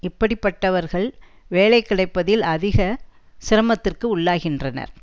இப்படிப்பட்டவர்கள் வேலை கிடைப்பதில் அதிக சிரமத்திற்கு உள்ளாகின்றனர்